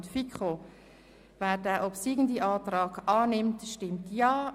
Wer diesen Antrag annimmt, stimmt Ja.